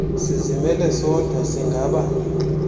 sizimele sodwa singaba